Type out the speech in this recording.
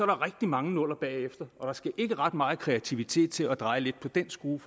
der rigtig mange nuller bagefter og der skal ikke ret meget kreativitet til at dreje lidt på den skrue